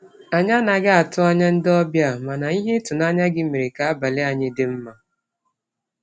Anyị anaghị atụ anya ndị obịa, mana ihe ịtụnanya gị mere ka abalị anyị dị mma.